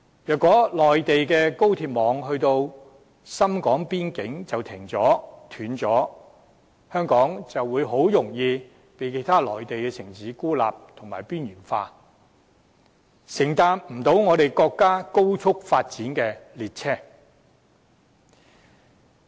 如果內地高鐵網到達深港邊境便停頓了，香港就很容易被其他內地城市孤立和邊緣化，無法搭上國家高速發展的列車。